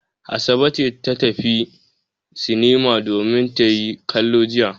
Sa'ade ce ta tafi sinima domin ta yi kallo jiya.